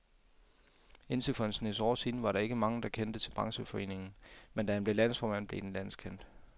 Indtil for en snes år siden var der ikke mange, der kendte til brancheforeningen, men da han blev landsformand, blev den landskendt.